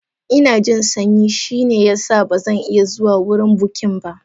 Ina jin sanyi, shine ya sa ba zan iya zuwa wurin bukin ba.